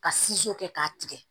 Ka kɛ k'a tigɛ